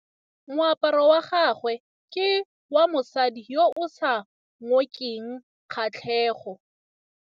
Moaparô wa gagwe ke wa mosadi yo o sa ngôkeng kgatlhegô.